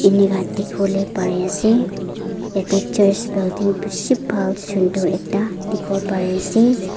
enaka dikhibo ley pari ase yate church building bishi bhal sundar ekta dikhibo pare ase.